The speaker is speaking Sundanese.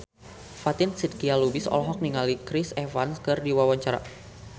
Fatin Shidqia Lubis olohok ningali Chris Evans keur diwawancara